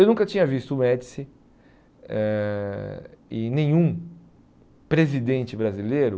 Eu nunca tinha visto o Médici eh e nenhum presidente brasileiro,